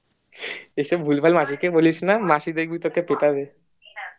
এসব ভুলভাল মাসিকে বলিস না মাসি দেখবি তোকে পিঠাবে